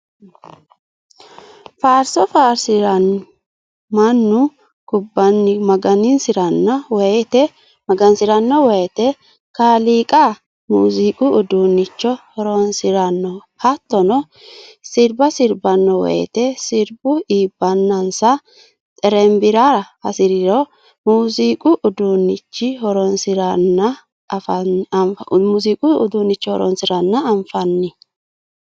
Faarso faarsiranni mannu kubbanni magansirano woyte kaaliiqa muziiqu uduuncho horonsirano hattonno sirba sirbano woyte sirbu iibbenansa xerebbirara hasiriro muziiqu uduunchi horonsiranna anfanni.